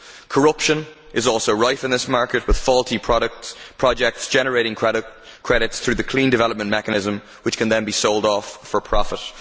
Corruption is also rife in this market, with faulty projects generating credits through the clean development mechanism, which can then be sold off for profit.